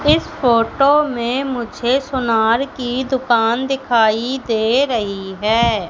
इस फोटो में मुझे सोनार की दुकान दिखाई दे रही है।